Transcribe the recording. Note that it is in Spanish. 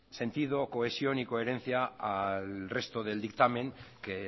sentido cohesión y coherencia al resto del dictamen que